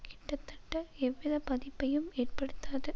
கிட்டத்தட்ட எவ்விதப் பாதிப்பையும் ஏற்படுத்தாது